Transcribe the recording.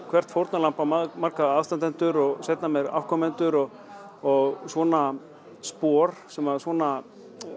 hvert fórnarlamb á marga aðstandendur og seinna meir afkomendur og og svona spor sem svona